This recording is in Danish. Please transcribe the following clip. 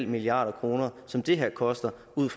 milliard kr som det her koster ud